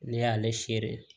Ne y'ale sere